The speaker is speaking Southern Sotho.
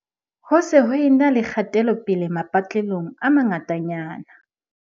Ho se ho e na le kgatelopele mapatlelong a mangata nyana.